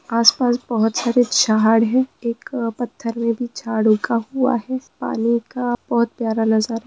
आसपास बहुत सारे झा-हा-ड़ हैं एक पत्थर में भी झड़ उगा हुआ है पानी का बहोत प्यारा नजारा--